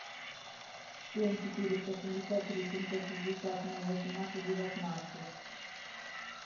семь четыреста семьдесят три семьсот шестьдесят ноль восемнадцать девятнадцать